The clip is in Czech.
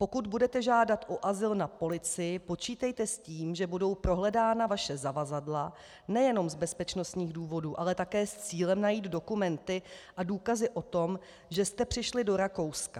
Pokud budete žádat o azyl na policii, počítejte s tím, že budou prohledána vaše zavazadla nejenom z bezpečnostních důvodů, ale také s cílem najít dokumenty a důkazy o tom, že jste přišli do Rakouska.